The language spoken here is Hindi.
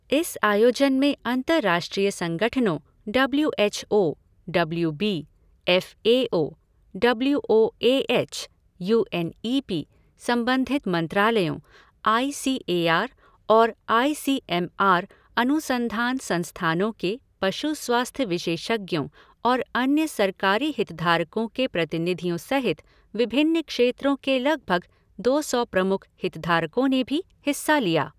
इस आयोजन में अंतर्राष्ट्रीय संगठनों W H O, W B, F A O, W O A H, U N E P, संबंधित मंत्रालयों, आई सी ए आर और आई सी एम आर अनुसंधान संस्थानों के पशु स्वास्थ्य विशेषज्ञों और अन्य सरकारी हितधारकों के प्रतिनिधियों सहित विभिन्न क्षेत्रों के लगभग दो सौ प्रमुख हितधारकों ने भी हिस्सा लिया।